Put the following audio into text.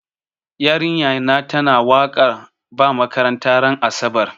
Yarinya na ta na wakar ba makaranta ran asabar